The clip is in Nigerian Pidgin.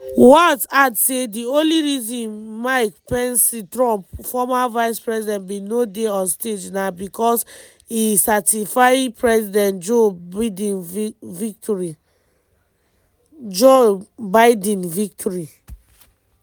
walz add say di only reason mike pence trump former vice-president bin no dey on stage na bicos e certify president joe biden victory.